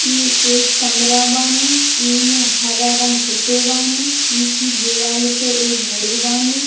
इ एक कमरा बानी | इ में हरा रंग होते बानी | इ की दीवाल पे एक घड़ी बानी |